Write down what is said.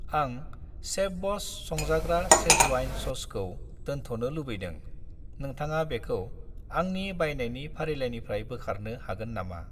आं शेफब'स संजाग्रा चेजवान ससखौ दोनथ'नो लुबैदों, नोंथाङा बेखौ आंनि बायनायनि फारिलाइनिफ्राय बोखारनो हागोन नामा?